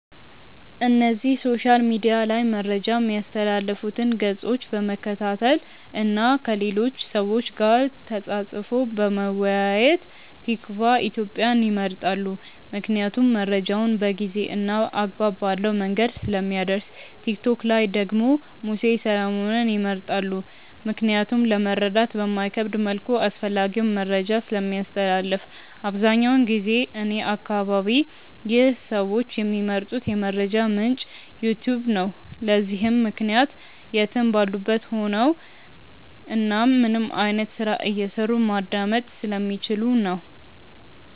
እነዚህ ሶሻል ሚድያ ላይ መረጃ ሚያስተላልፉትን ገፆች በመከታተል እና ከሌሎች ሰዎች ጋር ተፃፅፎ በመወያየት። ቲክቫ ኢትዮጵያን ይመርጣሉ ምክንያቱም መረጃውን በጊዜ እና አግባብ ባለው መንገድ ስለሚያደርስ። ቲክቶክ ላይ ደግሞ ሙሴ ሰለሞንን ይመርጣሉ ምክንያቱም ለመረዳት በማይከብድ መልኩ አስፈላጊውን መረጃን ስለሚያስተላልፍ። አብዛኛውን ጊዜ እኔ አከባቢ ይህ ሰዎች ሚመርጡት የመረጃ ምንጭ "ዩትዩብ" ነው። ለዚህም ምክንያት የትም ባሉበት ቦታ ሆነው እናም ምንም አይነት ስራ እየሰሩ ማዳመጥ ስለሚችሉ ነው።